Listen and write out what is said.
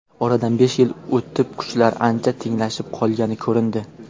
Oradan besh yil o‘tib kuchlar ancha tenglashib qolgani ko‘rindi.